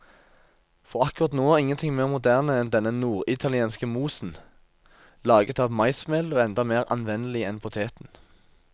For akkurat nå er ingenting mer moderne enn denne norditalienske mosen, laget av maismel og enda mer anvendelig enn poteten.